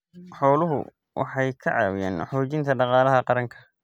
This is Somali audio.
Xooluhu waxay ka caawiyaan xoojinta dhaqaalaha qaranka.